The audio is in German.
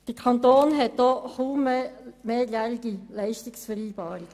Der Kanton hat kaum noch mehrjährige Leistungsvereinbarungen.